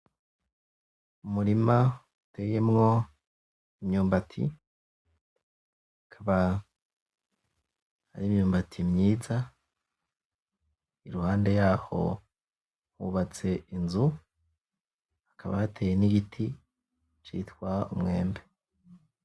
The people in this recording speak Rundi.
Umurima uteyemwo imyumbati akaba ari imyumbati myiza iruhande yaho hubatse inzu hakaba hateye n'igiti citwa umwembe.